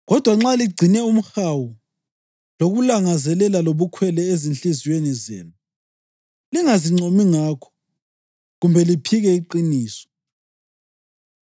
Kodwa nxa ligcine umhawu lokulangazela kobukhwele ezinhliziyweni zenu, lingazincomi ngakho kumbe liphike iqiniso.